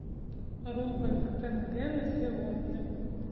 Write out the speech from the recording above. рубль к тенге на сегодня